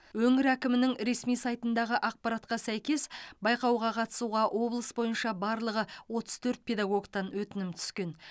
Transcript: өңір әкімінің ресми сайтындағы ақпаратқа сәйкес байқауға қатысуға облыс бойынша барлығы отыз төрт педагогтан өтінім түскен